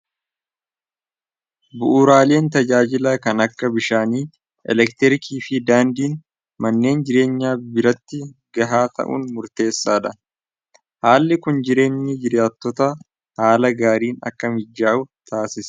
bu'uraaleen tajaajilaa kan akka bishaani, elektirkii fi daandiin manneen jireenyaa biratti gahaa ta'uun murteessaadha haalli kun jireenyi jiraatoota haala gaariin akka mijjaa'u taasise